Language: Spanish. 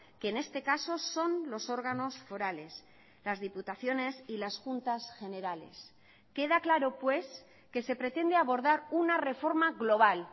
que en este caso son los órganos forales las diputaciones y las juntas generales queda claro pues que se pretende abordar una reforma global